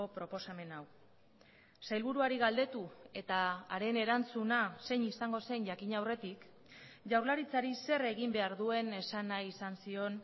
proposamen hau sailburuari galdetu eta haren erantzuna zein izango zen jakin aurretik jaurlaritzari zer egin behar duen esan nahi izan zion